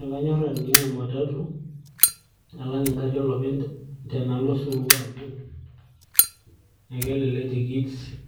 ekanyorr atijing'a ematatu alang engarri oloopeny tenalo osupuko amu ekelelek tikit